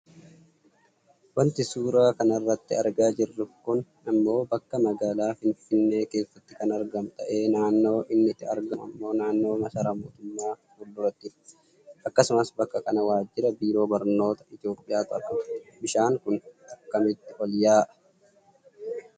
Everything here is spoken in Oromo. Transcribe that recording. Wanti suuraa kanarratti argaa jirru kun ammoo bakka magaalaa Finfinnee keessatti kan argamu ta'ee, naannoo inni itti argamu ammoo naannoo massaaraa mootummaa fuuldurattidha. Akkasumas bakka kana waajira biiroo barnoota Itoopiyaatu argama. Bishaan kun akkamitti ol yaa'a?